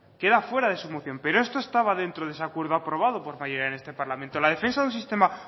queda fuera de su moción pero esto estaba dentro de ese acuerdo aprobado por mayoría en este parlamento la defensa de un sistema